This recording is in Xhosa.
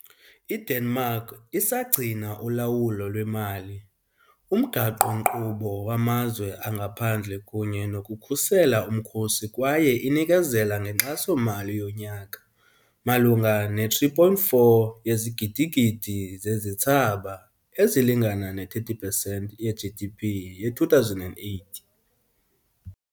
IDenmark isagcina ulawulo lwemali, umgaqo-nkqubo wamazwe angaphandle kunye nokukhusela umkhosi kwaye inikezela ngenkxaso-mali yonyaka, malunga ne-3.4 yezigidigidi zezithsaba, ezilingana ne-30 pesenti ye-GDP ye-2008.